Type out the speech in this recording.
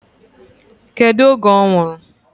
Kedu oge ọ nwụrụ?